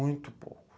Muito pouco.